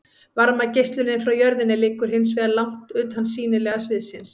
varmageislunin frá jörðinni liggur hins vegar langt utan sýnilega sviðsins